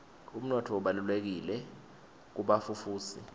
umnotfo ubalulekile kubafufusi